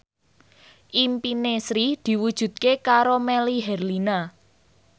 impine Sri diwujudke karo Melly Herlina